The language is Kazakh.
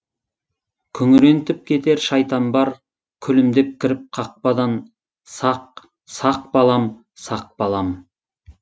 күңірентіп кетер шайтан бар күлімдеп кіріп қақпадан сақ сақ балам сақ балам